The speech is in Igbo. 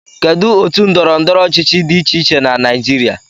Kedu otu ndọrọ ndọrọ ọchịchị dị iche iche na Naijiria